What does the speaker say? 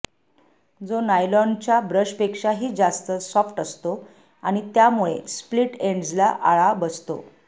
जो नायलॉनच्या ब्रशपेक्षा जास्त सॉफ्ट असतो आणि त्यामुळे स्प्लिट एंड्सला आळा बसतो